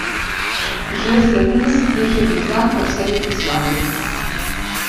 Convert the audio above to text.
Že v sedemdesetih je bil znan po vsej Jugoslaviji.